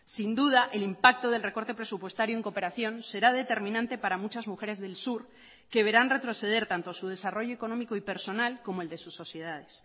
sin duda el impacto del recorte presupuestario en cooperación será determinante para muchas mujeres del sur que verán retroceder tanto su desarrollo económico y personal como el de sus sociedades